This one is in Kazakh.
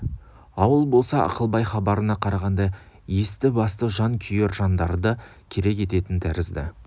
ауыл болса ақылбай хабарына қарағанда есті-басты жан күйер жандарды керек ететін тәрізді